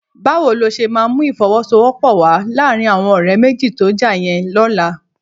Báwo ló ṣe máa mú ìfọwọ́sowọ́pọ̀ wà láàrin àwọn ọ̀rẹ́ méjì tó já yẹn lọ́la?